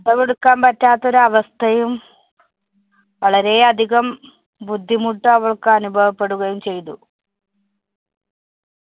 ശ്വാസം എടുക്കാന്‍ പറ്റാത്തോരവസ്ഥയും വളരെയധികം ബുദ്ധിമുട്ടവള്‍ക്ക് അനുഭവപ്പെടുകയും ചെയ്തു.